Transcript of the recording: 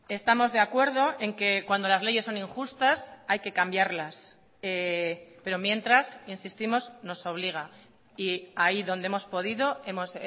estamos de acuerdo en que cuando las leyes son injustas hay que cambiarlas pero mientras insistimos nos obliga y ahí donde hemos podido hemos